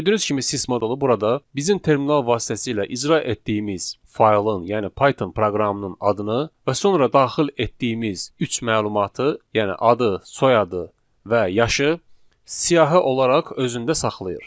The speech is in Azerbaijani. Gördüyünüz kimi sys modulu burada bizim terminal vasitəsilə icra etdiyimiz faylın, yəni Python proqramının adını və sonra daxil etdiyimiz üç məlumatı, yəni adı, soyadı və yaşı siyahı olaraq özündə saxlayır.